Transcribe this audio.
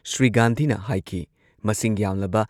ꯁ꯭ꯔꯤ ꯒꯥꯟꯙꯤꯅ ꯍꯥꯏꯈꯤ ꯃꯁꯤꯡ ꯌꯥꯝꯂꯕ